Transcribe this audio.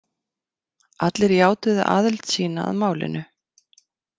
Allir játuðu aðild sína að málinu.